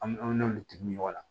An an n'olu tigiw min ɲɔgɔn na